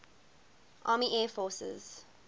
army air forces